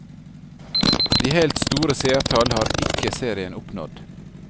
De helt store seertall har ikke serien oppnådd.